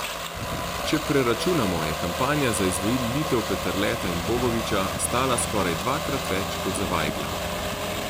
Če preračunamo, je kampanja za izvolitev Peterleta in Bogoviča stala skoraj dvakrat več kot za Vajgla.